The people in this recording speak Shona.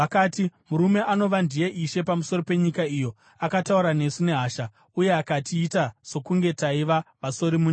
“Murume anova ndiye ishe pamusoro penyika iyo akataura nesu nehasha uye akatiita sokunge taiva vasori munyika.